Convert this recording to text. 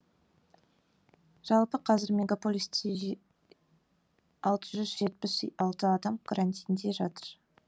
жалпы қазір мегаполисте алты жүз жетпіс алты адам карантинде жатыр